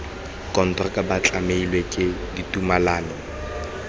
konteraka ba tlamilwe ke ditumalano